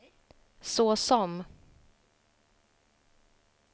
såsom